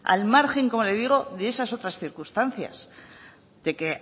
al margen como le digo de esas otras circunstancias de que